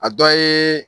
A dɔ ye